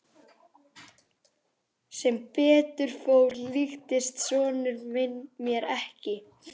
Sem betur fór líktist sonur minn mér ekki.